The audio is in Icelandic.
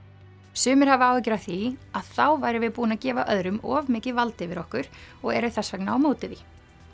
sumir hafa áhyggjur af því að þá værum við búin að gefa öðrum of mikið vald yfir okkur og eru þess vegna á móti því